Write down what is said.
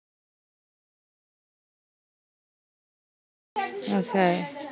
us I